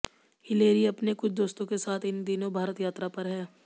Hillary अपने कुछ दोस्तों के साथ इन दिनों भारत यात्रा पर हैं